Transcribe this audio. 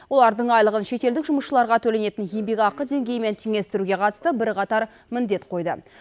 олардың айлығын шетелдік жұмысшыларға төленетін еңбекақы деңгейімен теңестіруге қатысты бірқатар міндет қойды